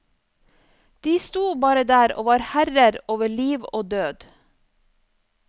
De sto bare der og var herrer over liv og død.